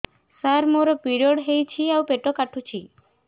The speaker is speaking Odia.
ସାର ମୋର ପିରିଅଡ଼ ହେଇଚି ଆଉ ପେଟ କାଟୁଛି